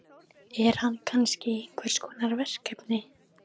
Er hann kannski í einhverskonar verkefni?